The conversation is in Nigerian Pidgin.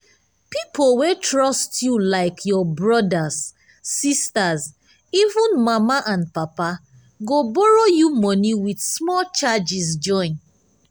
pipo wey trust you like your brothers sisters even mama and papa—go borrow you money with small charges join.